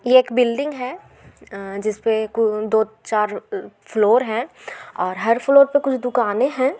ये-- एक बिल्डिंग है एएअ जिसपे कु दो चार फ्लोर हैं और हर फ्लोर पे कुछ दुकानें हैं।